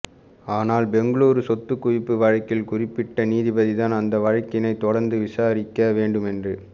ஆனால் பெங்களூரு சொத்துக் குவிப்பு வழக்கில் குறிப்பிட்ட நீதிபதிதான் அந்த வழக்கினைத் தொடர்ந்து விசாரிக்க வேண்டுமென்று